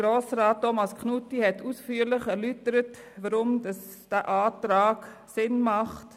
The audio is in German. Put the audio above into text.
Grossrat Thomas Knutti hat ausführlich erläutert, weshalb der Antrag Sinn macht.